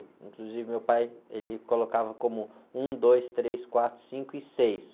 Inclusive, meu pai, ele colocava como um, dois, três, quatro, cinco e seis.